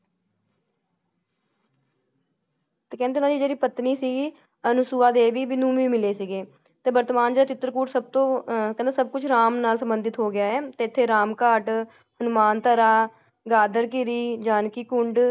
ਤੇ ਕਹਿੰਦੇ ਉੰਨਾ ਦਿ ਜੇੜੀ ਪਤਨੀ ਸੀ ਅਨੁਸੁਵਾ ਦੇਵੀ ਮਿਲੇ ਸੀਗੇ ਤੇ ਵਰਤਮਾਨ ਦਾ ਚਿਤ੍ਰਕੂਟ ਸਬਤੋ ਆਹ ਕਹਿੰਦੇ ਸਬ ਕੁਛ ਰਾਮ ਨਾਮ ਸੰਬੰਧਿਤ ਹੋਗਿਆ ਹੈ ਤੇ ਐਥੇ ਰਾਮ ਘਾਟ, ਹਨੂੰਮਾਨ ਧਰਾ, ਦਾਦਰ ਗਿਰੀ, ਜਾਨਕੀ ਕੁੰਡ